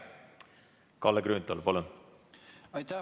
Kalle Grünthal, palun!